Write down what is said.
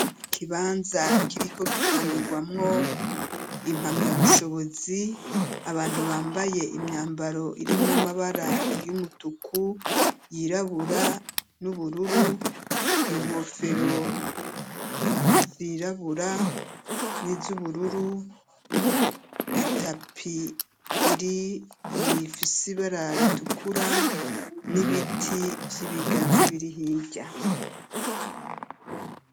Ikibanza kiriko gitangirwamwo impamya bushobozi abantu bambaye imyambaro irimwamabara y'umutuku, yirabura n'ubururu, inkofero zirabura n'iz'ubururu itapi iri ifisibara ritukura n'ibiti vy'ibigazi biri hirya.